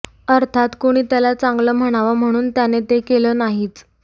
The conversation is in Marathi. अर्थात कुणी त्याला चांगलं म्हणावं म्हणून त्याने ते केलं नाहीच